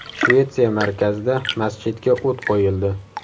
Shvetsiya markazida masjidga o‘t qo‘yildi.